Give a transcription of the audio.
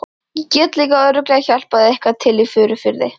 Ég get líka örugglega hjálpað eitthvað til í Furufirði.